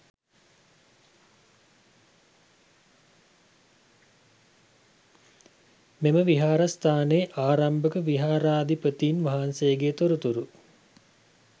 මෙම විහාරස්ථානයේ ආරම්භක විහාරාධිපතීන් වහන්සේගේ තොරතුරු